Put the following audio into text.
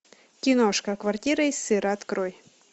киношка квартира из сыра открой